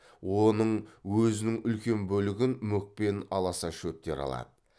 оның өзінің үлкен бөлігін мүк пен аласа шөптер алады